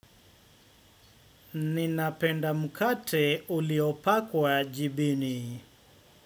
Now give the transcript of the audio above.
Ninapenda mkate uliopakwa jibini.